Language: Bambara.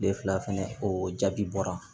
Tile fila fɛnɛ o jaabi bɔra